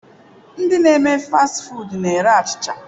Ndi na eme fast foodu na-ere achịcha.